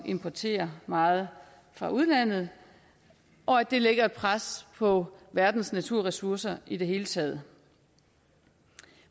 importere meget fra udlandet og det lægger et pres på verdens naturressourcer i det hele taget